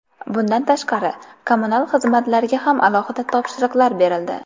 Bundan tashqari, kommunal xizmatlarga ham alohida topshiriqlar berildi.